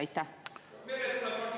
Aitäh!